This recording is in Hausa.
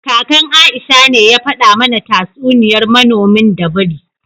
Kakan Aisha ne ya fada mana tatsuniyar manomin da biri